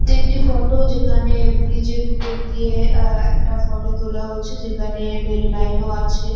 এটি একটি ফটো যেখানে ব্রিজ এর উপর দিয়ে আহ একটা ফটো তোলা হয়েছে যেখানে রেল লাইন ও আছে।